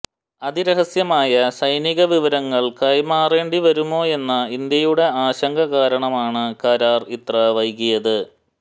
അതിരഹസ്യമായ സൈനികവിവരങ്ങൾ കൈമാറേണ്ടിവരുമോയെന്ന ഇന്ത്യയുടെ ആശങ്ക കാരണമാണ് കരാർ ഇത്ര വൈകിയത്